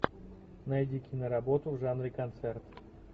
найди киноработу в жанре концерт